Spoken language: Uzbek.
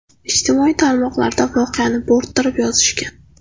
Ijtimoiy tarmoqlarda voqeani bo‘rttirib yozishgan.